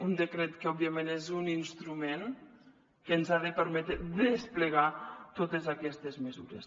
un decret que òbviament és un instrument que ens ha de permetre desplegar totes aquestes mesures